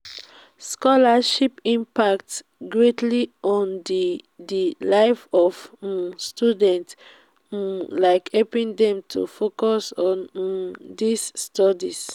scholarships impact greatly on di di life of um students um like helping dem to focus on um dia studies.